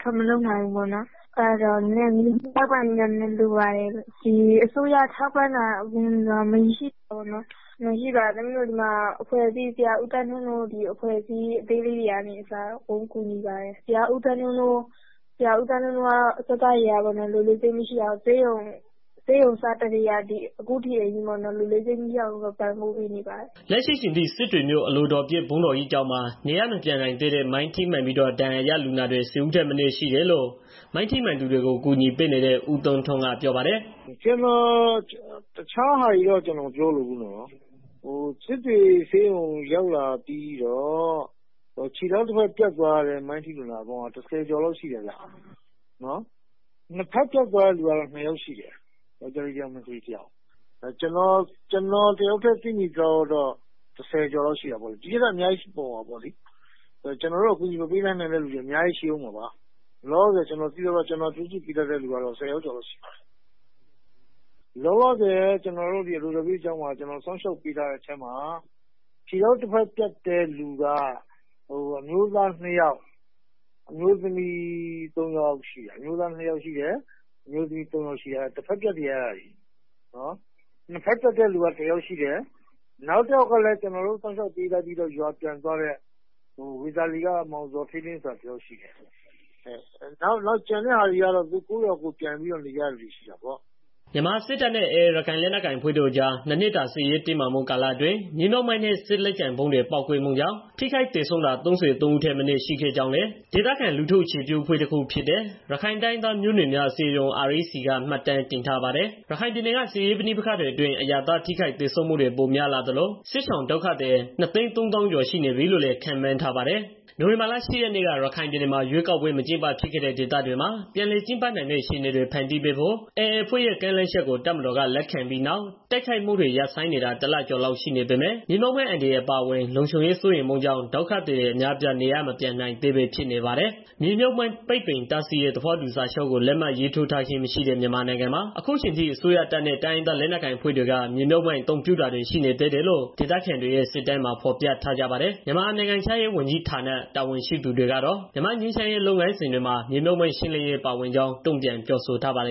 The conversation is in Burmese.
ထွက်မလုပ်နိုင်တော့ ကူညီထောက်ပံ့မှုတွေ လိုတာပေါ့။ အစိုးရထောက်ပံ့မှုဆိုတာကလည်းမရှိပါဘူး။ ညီမတို့ ဆေးရုံစတက်ကတည်းက ဆရာဦးသန်းထွန်းတို့ အဖွဲ့အစည်း အသေးလေးတွေကနေ အကုန်လုံးကူညီပါတယ်။ ဆရာဦးသန်းထွန်းတို့ အဖွဲ့က အခုထိ ပံ့ပို့ပေးနေပါတယ်။” လက်ရှိအချိန်ထိ စစ်တွေမြို့ အလိုတော်ပြည့်ဘုန်းတော်ကြီးကျောင်းမှာ နေရပ်မပြန်နိုင်သေးတဲ့မိုင်းထိမှန်ပြီးတော့ ဒဏ်ရာရလူနာတွေ ဆယ်ဦးထက်မနည်းရှိတယ်လို့ မိုင်းထိမှန်သူတွေကို ကူညီပေးနေတဲ့ ဦးသန်းထွန်းက ပြောပါတယ်။ “တခြားဟာတွေတော့ ကျနော်မပြောလိုဘူးပေါ့နော်။ စစ်တွေဆေးရုံကို ရောက်လာတဲ့ လူတွေထဲက ခြေထောက်တစ်ဘက် ပြတ်သွားတဲ့ မိုင်းထိ လူနာတွေကတော့ ၁၀ ကျော် လောက်ရှိတယ်။ နှစ်ဘက်ပြတ်သွားတဲ့ သူကတော့ နှစ်ယောက်ရှိတယ်။ ကျားတစ်ယောက်၊ မတစ်ယောက်ပေါ့။ ကျနော်တစ်ယောက်တည်း သိသလောက်တော့ ၁၀ ကျော်လောက် ရှိတယ်။ ဒီထက်လည်း အများကြီးရှိမှာပေါ့နော်။ ကျနော်တို့ အကူအညီ မပေးလိုက်နိုင်တဲ့ သူတွေလည်း အများကြီးရှိမှာပေါ့လေ။ လောလောဆယ် အလိုတော်ပြည့်ကျောင်းမှာ ကျနော်စောက်ရှောက်ပေးထားတဲ့ထဲမှာ ခြေထောက် တဘက်ပြတ်တဲ့သူက အမျိုးသား နှစ်ယောက်၊ အမျိုးသမီး သုံးယောက် ရှိတယ်။ တဘက်ပြတ်တွေ အဲဒါတွေက။ နှစ်ဘက် ပြတ်တဲ့သူက ၁၀ ယာက်ရှိတယ်။ နောက်တယောက်ကလည်း ကျနော်တို့စောက်ရှောက်ပေးထားပြီးတော့ ရွာပြန်သွားတဲ့ ဝေသာလီက မောင်ဇော်ဌေးလင်းဆိုတာ တယောက်ရှိတယ် ကျန်တဲ့သူတွေကတော့ ရွာပြန်ပြီးတော့ ကိုယ့်ရွာကိုယ်ပြန်နေကြတာပေါ့။” မြန်မာစစ်တပ်နဲ့ AA ရခိုင်လက်နက်ကိုင်အဖွဲ့တို့အကြား ၂ နှစ်တာ စစ်ရေးတင်းမာမှု ကာလအ တွင်း မြေမြှုပ်မိုင်းနဲ့ စစ်လက်ကျန်ဗုံးတွေ ပေါက်ကွဲမှုကြောင့် ထိခိုက်သေဆုံးတာ ၃၃ ဦးထက်မနည်း ရှိခဲ့ကြောင်းလည်း ဒေသခံ လူထုအခြေပြုအဖွဲ့ တခုဖြစ်တဲ့ ရခိုင်တိုင်းရင်းသားမျိုးနွယ်များ အစည်းအရုံး (REC) ကမှတ်တမ်းတင်ထားပါတယ်။ ရခိုင်ပြည်နယ်က စစ်ရေးပဋိပက္ခတွေ အတွင်း အရပ်သား ထိခိုက်သေဆုံးမှုတွေ ပိုများလာသလို စစ်ရှောင်ဒုက္ခသည် ၂၃၀,၀၀၀ ကျော် ရှိနေပြီလို့လည်း ခန့်မှန်းထားပါတယ်။ နိုဝင်ဘာလ ၈ ရက်နေ့က ရခိုင်ပြည်နယ်မှာ ရွေးကောက်ပွဲ မကျင်းပဖြစ်ခဲ့တဲ့ ဒေသတွေမှာ ပြန်လည်ကျင်းပနိုင်မယ့် အခြေအနေတွေ ဖန်တီးပေးဖို့ AA အဖွဲ့ရဲ့ ကမ်းလှမ်းချက်ကို တပ်မတော်က လက်ခံခဲ့ပြီးနောက် တိုက်ခိုက်မှုတွေ ရပ်ဆိုင်းနေတာ ၁ လကျော်လောက် ရှိနေပေမဲ့ မြေမြှုပ်မိုင်းအန္တရာယ် အပါအဝင် လုံခြုံရေးစိုးရိမ်မှုကြောင့် ဒုက္ခသည်တွေ အများအပြား နေရပ်မပြန်ရဲသေးဘဲ ဖြစ်နေပါတယ်။ မြေမြုုပ်မိုင်း ပိတ်ပင်တားဆီးရေး သဘောတူစာချုပ် လက်မှတ်ရေးထိုးထားခြင်းမရှိတဲ့ မြန်မာနိုင်ငံမှာ အခုအချိန်ထိ အစိုးရတပ်နဲ့ တိုင်းရင်းသားလက်နက်ကိုင် အဖွဲ့တွေက မြေမြုူပ်မိုင်း အသုံးပြုတာတွေ ရှိနေသေးတယ်လို့ ဒေသခံတွေရဲ့ စစ်တမ်းတွေမှာ ဖော်ပြကြပါ တယ်။ မြန်မာနိုင်ငံခြားရေးဝန်ကြီးဌာန တာဝန်ရှိသူတွေကတော့ မြန်မာ့ငြိမ်းချမ်းရေး လုပ်ငန်းစဉ်တွေမှာ မြေမြုုပ်မိုင်းရှင်းလင်းရေး ပါဝင်ကြောင်း တုံ့ပြန်ပြောဆိုထားပါတယ်